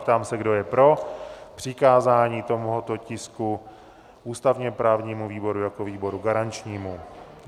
Ptám se, kdo je pro přikázání tohoto tisku ústavně-právnímu výboru jako výboru garančnímu?